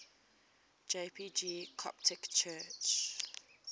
jpg coptic church